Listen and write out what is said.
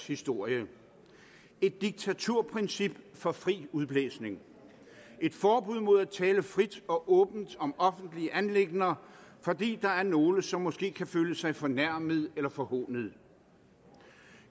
historie et diktaturprincip for fri udblæsning et forbud mod at tale frit og åbent om offentlige anliggender fordi der er nogle som måske kan føle sig fornærmet eller forhånet